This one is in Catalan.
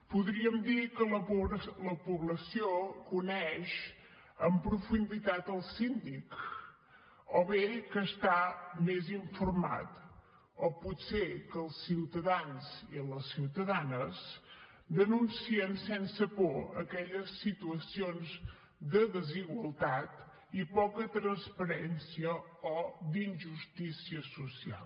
podríem dir que la població coneix en profunditat el síndic o bé que està més informada o potser que els ciutadans i les ciutadanes denuncien sense por aquelles situacions de desigualtat i poca transparència o d’injustícia social